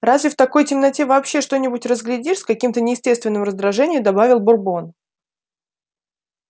разве в такой темноте вообще что-нибудь разглядишь с каким-то неестественным раздражением добавил бурбон